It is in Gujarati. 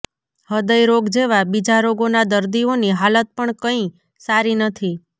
હૃદયરોગ જેવા બીજા રોગોના દરદીઓની હાલત પણ કંઈ સારી નથી